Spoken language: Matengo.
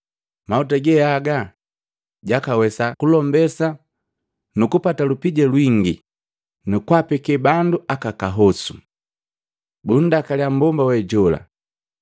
Mahuta geaga jwakawesaa kugalombesa nukupata lupija lwingi, nakwapekee bandu aka kahosu!” Bundakalia mmbomba we jola.